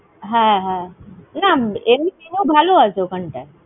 হ্যাঁ, হ্যাঁ, এমনি menu ও ভালো আছে ওখান টায়।